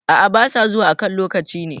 A`a ba sa zuwa a kan lokaci ne